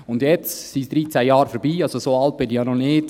Und jetzt sind 13 Jahre vergangen, so alt bin ich ja noch nicht: